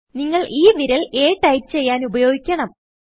നിങ്ങൾ ഈ വിരൽ a ടൈപ്പ് ചെയ്യാൻ ഉപയോഗിക്കണം